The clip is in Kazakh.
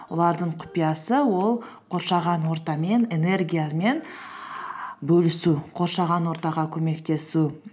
олардың құпиясы ол қоршаған ортамен энергиямен бөлісу қоршаған ортаға көмектесу